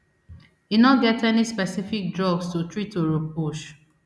e no get any specific drugs to treat oropouche